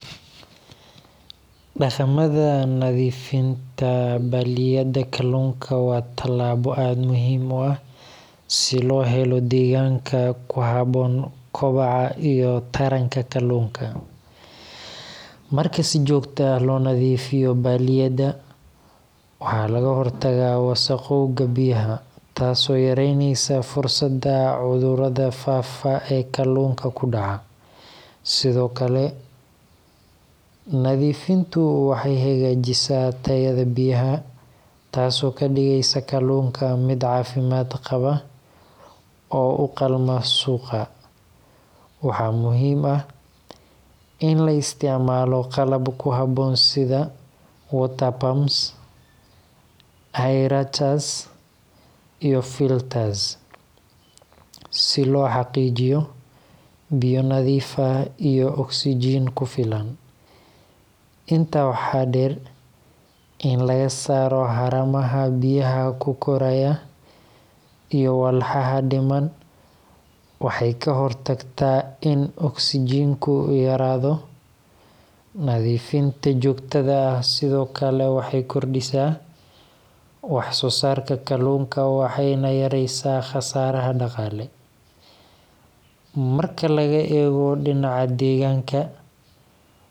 Dhaqamada nadiifinta balliyada kalluunka waa tallaabo aad muhiim u ah si loo helo deegaanka ku habboon kobaca iyo taranka kalluunka. Marka si joogto ah loo nadiifiyo balliyada, waxa laga hortagaa wasakhowga biyaha, taasoo yareyneysa fursadda cudurrada faafa ee kalluunka ku dhaca. Sidoo kale, nadiifintu waxay hagaajisaa tayada biyaha, taasoo ka dhigaysa kalluunka mid caafimaad qaba oo u qalma suuqa. Waxaa muhiim ah in la isticmaalo qalab ku habboon sida water pumps, aerators, iyo filters si loo xaqiijiyo biyo nadiif ah iyo oksijiin ku filan. Intaa waxaa dheer, in laga saaro haramaha biyaha ku koraya iyo walxaha dhiman waxay ka hortagtaa in oksijiinku yaraado. Nadiifinta joogtada ah sidoo kale waxay kordhisaa wax-soosaarka kalluunka waxayna yareysaa khasaaraha dhaqaale.